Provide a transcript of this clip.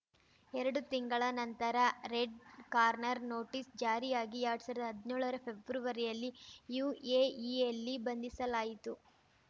ಎರಡು ತಿಂಗಳ ನಂತರ ರೆಡ್‌ ಕಾರ್ನರ್‌ ನೋಟಿಸ್‌ ಜಾರಿಯಾಗಿ ಎರಡ್ ಸಾವಿರ್ದಾ ಹದ್ನೇಳರ ಫೆಬ್ರವರಿಯಲ್ಲಿ ಯುಎಇಯಲ್ಲಿ ಬಂಧಿಸಲಾಯಿತು